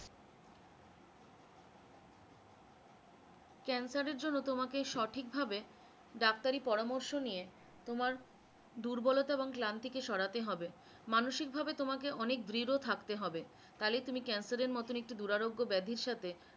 cancer এর জন্য তোমাকে সঠিক ভাবে ডাক্তারি পরামর্শ নিয়ে তোমার দুর্বলতা এবং ক্লান্তি কে সরাতে হবে, মানসিক ভাবে তোমাকে অনেক দৃঢ় থাকতে হবে তাহলেই তুমি cancer এর মতন একটি দূর আরোগ্য ব্যাধির সাথে